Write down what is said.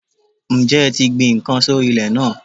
Ǹjẹ́ ẹ ti gbin n kan sórí ilè náà